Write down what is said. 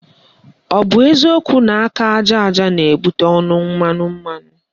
Ọ bụ eziokwu na aka aja aja na-ebute ọnụ mmanụ mmanụ?